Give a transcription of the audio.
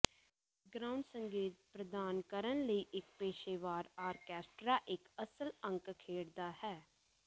background ਸੰਗੀਤ ਪ੍ਰਦਾਨ ਕਰਨ ਲਈ ਇੱਕ ਪੇਸ਼ੇਵਰ ਆਰਕੈਸਟਰਾ ਇੱਕ ਅਸਲ ਅੰਕ ਖੇਡਦਾ ਹੈ